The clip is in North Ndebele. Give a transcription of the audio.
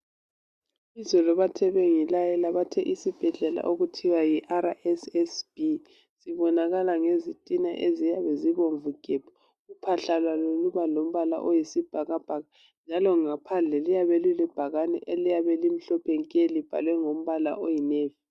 Izolo bathe bengilayela, bathe isibhedlela esithiwa yiRSSB sibonakala ngezitina eziyabe zibomvu gebhu. Uphahla lwalo luba lombala oyisibhakabhaka, njalo ngaphandle liyabe lilebhakane eliyabe limhlophe nke libhalwe ngombala oyi navy.